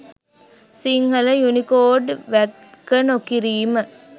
Sinhala Unicode වැක නොකිරීම